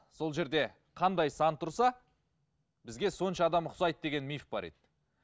сол жерде қандай сан тұрса бізге сонша адам ұқсайды деген миф бар еді